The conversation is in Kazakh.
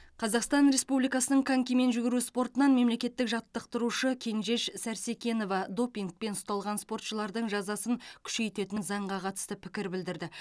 қазақстан республикасының конькимен жүгіру спортынан мемлекеттік жаттықтырушы кенжеш сәрсекенова допингпен ұсталған спортшылардың жазасын күшейтетін заңға қатысты пікір білдірді